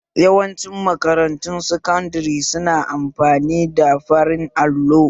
Yawanci makarantun sakandare su na amfani da farin allo